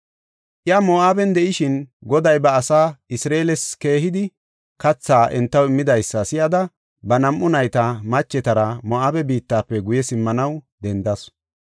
Iya Moo7aben de7ishin, Goday ba asa Isra7eeles keehidi kathi entaw immidaysa si7ada ba nam7u nayta machetara Moo7abe biittafe guye simmanaw dendasu.